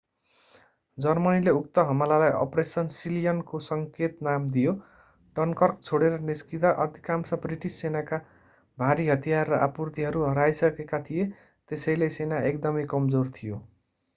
जर्मनीले उक्त हमलालाई operation sealion को सङ्केत नाम दियो डनकर्क छोडेर निस्कँदा अधिकांश ब्रिटिस सेनाका भारी हतियार र आपूर्तिहरू हराइसकेका थिए त्यसैले सेना एकदमै कमजोर थियो